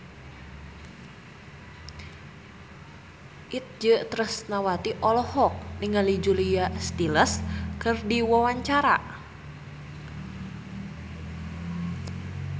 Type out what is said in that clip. Itje Tresnawati olohok ningali Julia Stiles keur diwawancara